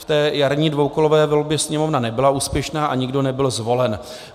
V té jarní dvoukolové volbě Sněmovna nebyla úspěšná a nikdo nebyl zvolen.